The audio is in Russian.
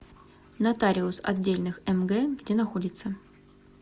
нотариус отдельных мг где находится